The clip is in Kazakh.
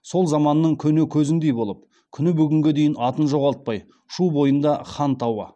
сол заманның көне көзіндей болып күні бүгінге дейін атын жоғалтпай шу бойында хан тауы